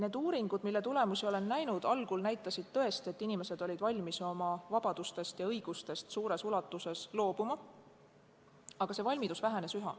Need uuringud, mille tulemusi ma olen näinud, näitasid algul tõesti, et inimesed olid valmis oma vabadustest ja õigustest suures ulatuses loobuma, aga see valmidus üha vähenes.